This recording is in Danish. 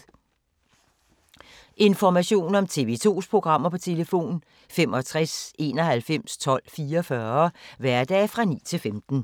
Information om TV 2's programmer: 65 91 12 44, hverdage 9-15.